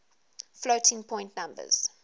floating point numbers